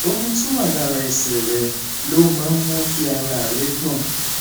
omi tó wà lára ẹsẹ rẹ lọhùnún máa ń ń mú kí ara rẹ gbọn